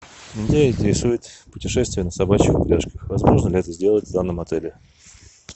меня интересует путешествие на собачьих упряжках возможно ли это сделать в данном отеле